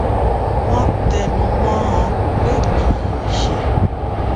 wón tẹnu mó ọn pé kì í ṣe